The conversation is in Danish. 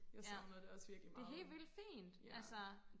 jeg savner det også virkelig meget ja